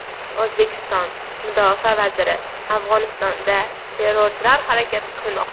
O‘zbekiston mudofaa vaziri: Afg‘onistonda terrorchilar harakat qilmoqda.